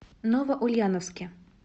новоульяновске